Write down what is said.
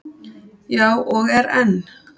Já, og er enn.